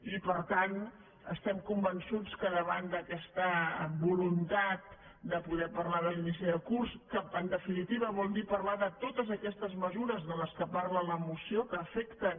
i per tant estem convençuts que davant d’aquesta voluntat de poder parlar de l’inici de curs que en definitiva vol dir parlar de totes aquestes mesures de què parla la moció que afecten